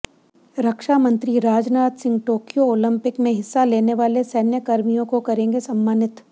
रक्षामंत्री Rajnath Singh Tokyo Olympic में हिस्सा लेने वाले सैन्यकर्मियों को करेंगे सम्मानित